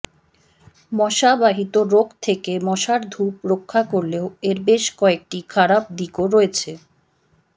মশা বাহিত রোগ থেকে মশার ধূপ রক্ষা করলেও এর বেশ কয়েকটি খারাপ দিকও রয়েছে